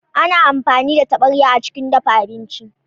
Ana amfani da taɓarya a cikin dafa abinci.